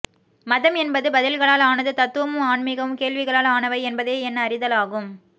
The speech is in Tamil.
மதம் என்பது பதில்களால் ஆனது தத்துவமும் ஆன்மீகமும் கேள்விகளால் ஆனவை என்பதே என் அறிதலாகும்